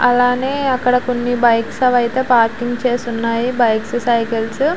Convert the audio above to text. అలానే అక్కడ కొన్ని బైక్స్ పార్క్ చేసి ఉన్నాయి. Bikes cycles --